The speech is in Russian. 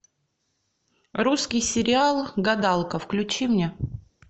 русский сериал гадалка включи мне